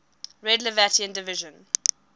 red latvian division